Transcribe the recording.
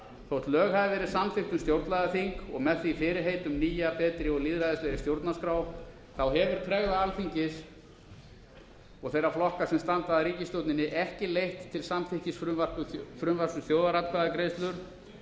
þótt lög hafi verið samþykkt um stjórnlagaþing og með því fyrirheit um nýja betri og lýðræðislegri stjórnarskrá þá hefur tregða alþingis og þeirra flokka sem standa að ríkisstjórninni ekki leitt til samþykkis frumvarps um þjóðaratkvæðagreiðslur